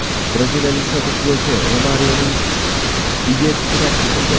Braziliyalik sobiq futbolchi Romarioning uyi tunab ketildi.